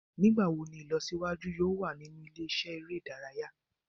Nigbawo ni ilọsiwaju yoo wa ninu ile-iṣẹ ere idaraya?